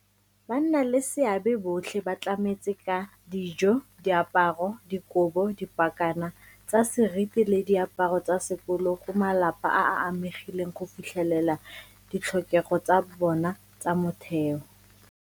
Bannaleseabe botlhe ba tlametse ka dijo, diaparo, dikobo, dipakana tsa seriti le diaparo tsa sekolo go malapa a a amegileng go fitlhelela ditlhokego tsa bona tsa motheo.